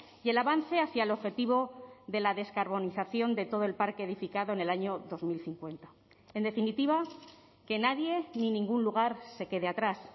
y el avance hacia el objetivo de la descarbonización de todo el parque edificado en el año dos mil cincuenta en definitiva que nadie ni ningún lugar se quede atrás